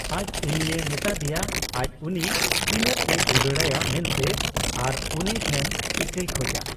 ᱟᱡ ᱩᱱᱤᱭ ᱢᱮᱛᱟᱫᱮᱭᱟ ᱟᱡ ᱩᱱᱤ ᱛᱤᱱᱟᱹᱜ ᱮ ᱫᱩᱞᱟᱹᱲᱟᱭᱟ ᱢᱮᱱᱛᱮ ᱟᱨ ᱩᱱᱤ ᱴᱷᱮᱱ ᱤᱠᱟᱹᱭ ᱠᱷᱚᱡᱟ ᱾